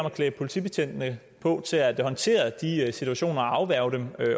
at klæde politibetjentene på til at håndtere de situationer og afværge dem